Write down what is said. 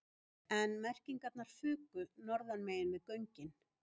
En merkingarnar fuku norðanmegin við göngin